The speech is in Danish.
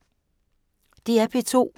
DR P2